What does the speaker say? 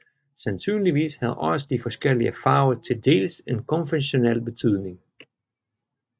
Sandsynligvis havde også de forskellige farver til dels en konventionel betydning